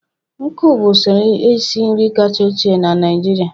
nkụ bụ usoro esi nri kacha ochie na Naịjirịa.